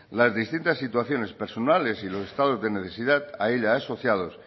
las distintas situaciones personales y los estados de necesidad a ella asociados